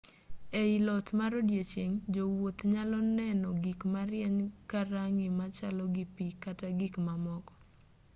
ei lot mar odieching' jowuoth nyalo neno gik marieny ka rang'i machalo gi pi kata gik mamoko